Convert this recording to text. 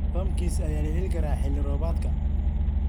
Pumpkins ayaa la heli karaa xilli-roobaadka.